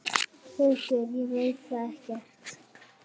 Birgir: Ég veit það ekkert.